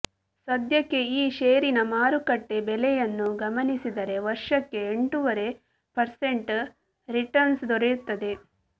ಸದ್ಯಕ್ಕೆ ಈ ಷೇರಿನ ಮಾರುಕಟ್ಟೆ ಬೆಲೆಯನ್ನು ಗಮನಿಸಿದರೆ ವರ್ಷಕ್ಕೆ ಎಂಟೂವರೆ ಪರ್ಸೆಂಟ್ ರಿಟರ್ನ್ಸ್ ದೊರೆಯುತ್ತದೆ